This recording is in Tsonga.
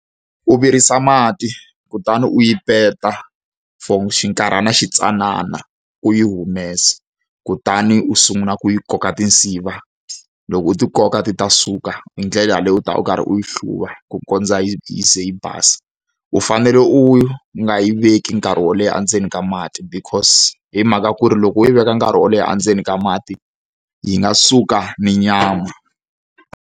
U virisa mati kutani u yi peta for xinkarhana xi tsanana, u yi humesa, kutani u sungula ku yi koka tinsiva. Loko u ti koka ti ta suka, hi ndlela yeleyo u ta va u karhi u yi hluva ku kondza yi yi ze yi basa. U fanele u nga yi veki nkarhi wo leha endzeni ka mati because hi mhaka ku ri loko u yi veka nkarhi wo leha endzeni ka mati, yi nga suka na nyama.